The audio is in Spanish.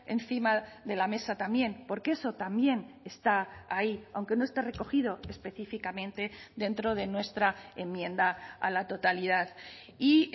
encima de la mesa también porque eso también está ahí aunque no esté recogido específicamente dentro de nuestra enmienda a la totalidad y